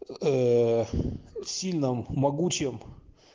в сильном могучем